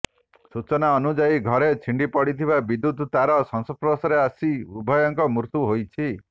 ସୂଚନା ଅନୁଯାୟୀ ଘରେ ଛିଣ୍ଡି ପଡ଼ିଥିବା ବିଦ୍ୟୁତ୍ ତାର ସଂସ୍ପର୍ଶରେ ଆସି ଉଭୟଙ୍କ ମୃତ୍ୟୁ ହୋଇଛି